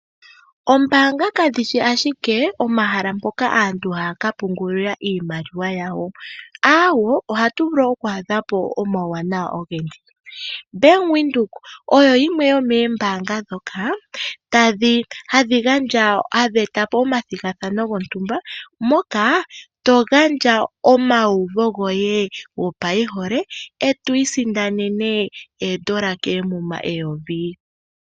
Oombaanga kadhishi ashike omahala mpoka aantu haya kapungulila iimaliwa yawo aawo! ohatu vulu oku adhapo omauwanawa ogendji. Bank Windhoek oyo yimwe yomoombaanga ndhoka hadhi eta po omathigathano gontumba moka to gandja omayiuvo goye gopaihole eto isindanene oodola koomuma eyovi.